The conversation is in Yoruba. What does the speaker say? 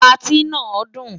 Patí náà dùn.